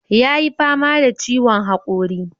Yayi fama da ciwon haƙori.